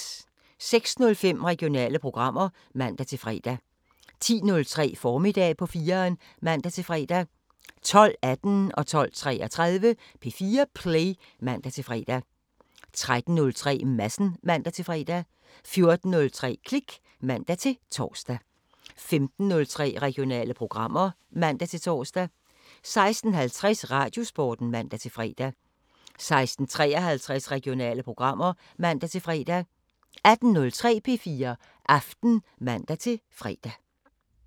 06:05: Regionale programmer (man-fre) 10:03: Formiddag på 4'eren (man-fre) 12:18: P4 Play (man-fre) 12:33: P4 Play (man-fre) 13:03: Madsen (man-fre) 14:03: Klik (man-tor) 15:03: Regionale programmer (man-tor) 16:50: Radiosporten (man-fre) 16:53: Regionale programmer (man-fre) 18:03: P4 Aften (man-fre)